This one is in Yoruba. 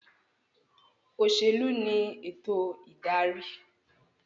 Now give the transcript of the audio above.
Òṣèlú ní ètò ìdarí